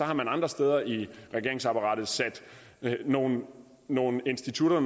har man andre steder i regeringsapparatet sat nogle nogle institutter og